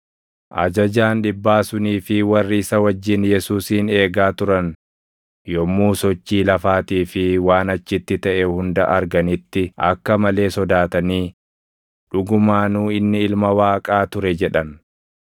Ajajaan dhibbaa sunii fi warri isa wajjin Yesuusin eegaa turan yommuu sochii lafaatii fi waan achitti taʼe hunda arganitti akka malee sodaatanii, “Dhugumaanuu inni Ilma Waaqaa ture!” jedhan.